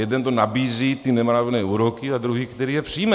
Jeden to nabízí, ty nemravné úroky, a druhý, který je přijme.